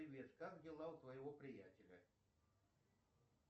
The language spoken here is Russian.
привет как дела у твоего приятеля